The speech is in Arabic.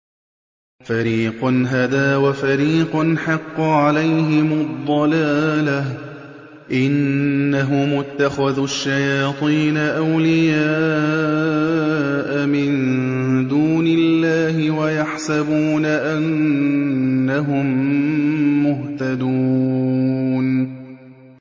فَرِيقًا هَدَىٰ وَفَرِيقًا حَقَّ عَلَيْهِمُ الضَّلَالَةُ ۗ إِنَّهُمُ اتَّخَذُوا الشَّيَاطِينَ أَوْلِيَاءَ مِن دُونِ اللَّهِ وَيَحْسَبُونَ أَنَّهُم مُّهْتَدُونَ